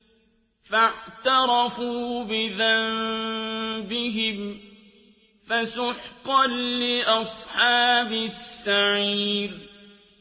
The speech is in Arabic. فَاعْتَرَفُوا بِذَنبِهِمْ فَسُحْقًا لِّأَصْحَابِ السَّعِيرِ